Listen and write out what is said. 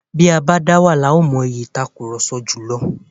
Bí o bá dáwà ni ó má mọ ìyí ìtakurọlsọ jùlọ.